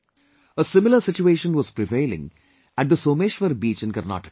A similar situation was prevailing at the Someshwar beach in Karnataka